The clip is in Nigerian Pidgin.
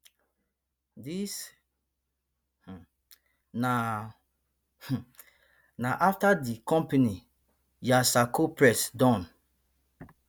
dis um na um na afta di company yasarko press don